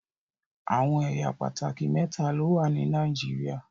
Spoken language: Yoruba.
Awọn ẹya pátákì méta lọwọ ni Nàìjíríà